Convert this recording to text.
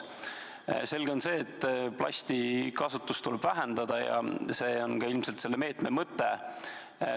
Selge on see, et plasti kasutust tuleb vähendada, see on ilmselt ka selle meetme mõte.